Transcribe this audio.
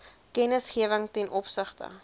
kennisgewing ten opsigte